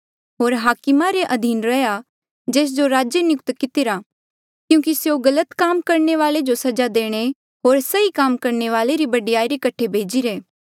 होर हाकमा रे अधीन रैहया जेस जो राजे नियुक्त कितिरा क्यूंकि स्यों गलत काम करणे वाले जो सजा देणे होर सही काम करणे वाले री बढ़ाई रे कठे भेजिरे